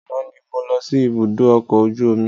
Àná ni mo lọ sí ibùdó ọkọ̀ ojú omi.